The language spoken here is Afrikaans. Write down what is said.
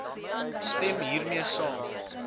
stem hiermee saam